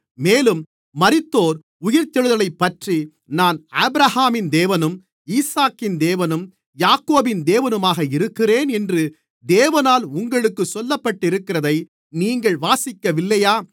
மேலும் மரித்தோர் உயிர்த்தெழுதலைப்பற்றி நான் ஆபிரகாமின் தேவனும் ஈசாக்கின் தேவனும் யாக்கோபின் தேவனுமாக இருக்கிறேன் என்று தேவனால் உங்களுக்குச் சொல்லப்பட்டிருக்கிறதை நீங்கள் வாசிக்கவில்லையா